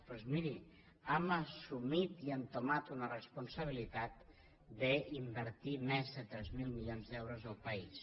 doncs miri hem assumit i hem entomat una responsabilitat d’invertir més de tres mil milions d’euros al país